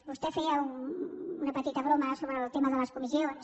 vostè feia una petita broma sobre el tema de les comissions